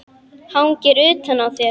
Hangir utan á þér!